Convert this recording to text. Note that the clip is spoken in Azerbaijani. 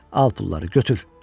Al pulları, götür.